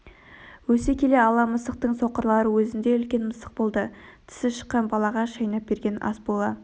өсе келе ала мысықтың соқырлары өзіндей үлкен мысық болды тісі шыққан балаға шайнап берген ас бола